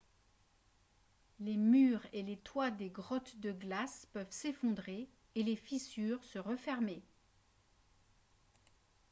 les murs et les toits des grottes de glace peuvent s'effondrer et les fissures se refermer